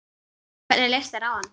Hvernig leist þér á hann?